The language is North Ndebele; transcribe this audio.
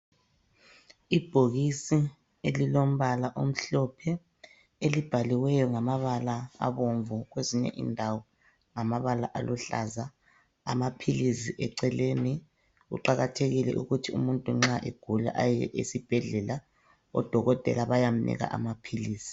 Ibhokisi elilombala omhlophe elibhaliweyo ngamabala abomvu kwezinye indawo ngamabala aluhlaza, amaphilizi eceleni, kuqakathekile ukuthi umuntu nxa egula aye esibhedlela odokotela bayamnika amaphilisi.